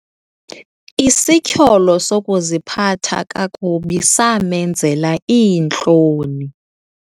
Isityholo sokuziphatha kakubi samenzela iintloni.